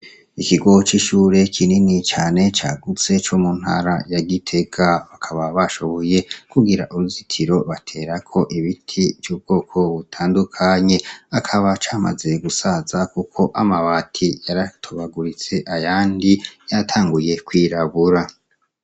Ikigo c'ishure kinini cane, cagutse, co mu ntara ya Gitega; bakaba bashoboye kugira uruzitiro baterako ibiti vy'ubwoko butandukanye. Akaba camaze gusaza kuko amabati yaratobaguritse, ayandi yatanguye kwirabura.